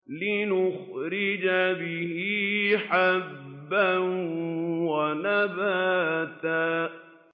لِّنُخْرِجَ بِهِ حَبًّا وَنَبَاتًا